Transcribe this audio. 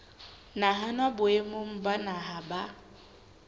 nahanwa boemong ba naha ba